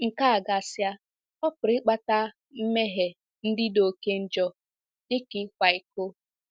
Nke a gasịa, ọ pụrụ ịkpata mmehie ndị dị oké njọ, dị ka ịkwa iko.